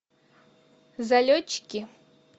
залетчики